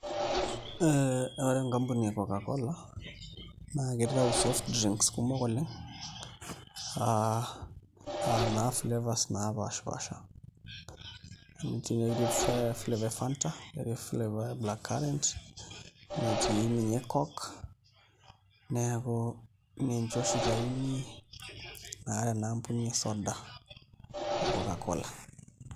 Ee ore enkampuni e Cocacola naa kitau soft drinks kumok oleng' aa naa flavours naapaashipaasha amu ketii flavours e fanta netii flavours black carrunt, netii ninye coke neeku ninche oshi itayuni tena ampuni e soda e Cocacola.